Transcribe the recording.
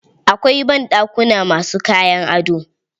Akwai banɗakuna ma su kayan ado.